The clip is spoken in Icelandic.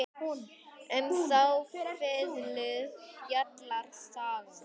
Um þá fiðlu fjallar sagan.